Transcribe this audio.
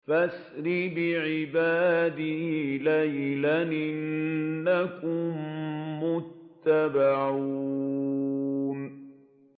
فَأَسْرِ بِعِبَادِي لَيْلًا إِنَّكُم مُّتَّبَعُونَ